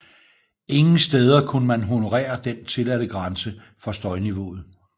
Ingen steder kunne man honorere den tilladte grænse for støjniveauet